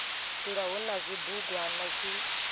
dzula hu na zwibugwana zwi